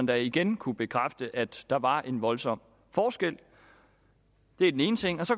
da igen kunne bekræfte at der var en voldsom forskel det er den ene ting så